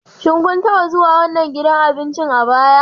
Shin kun taba zuwa wannan gidan abincin a baya?